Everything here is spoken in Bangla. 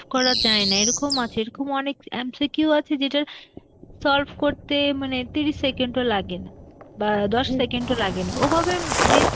করা যায় না, এরকম আছে~ এরকমও অনেক MCQ আছে যেটা solve করতে মানে তিরিশ second ও লাগেনা, বা দশ second ও লাগেনা. ওভাবে হম mis-